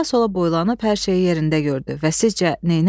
Sağa-sola boylanıb hər şeyi yerində gördü və sizcə neylədi?